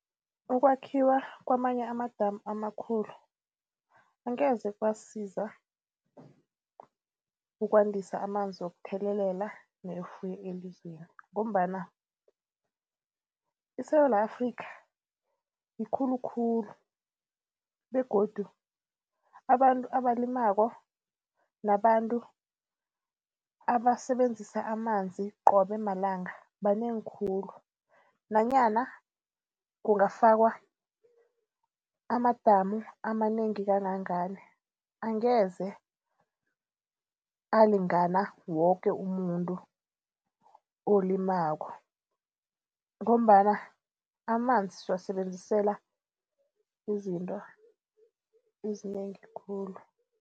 Ukwakhiwa kwamanye amadamu amakhulu angeze kwasisiza ukwandisa amanzi wokuthelelela newefuyo elizweni ngombana iSewula Afrikha yikhulukhulu begodu abantu abalimako nabantu abasebenzisa amanzi qobe malanga banengi khulu. Nanyana kungafakwa amadamu amanengi kangangani angeze alingana woke umuntu olimako ngombana amanzi siwasebenzisela izinto ezinengi khulu.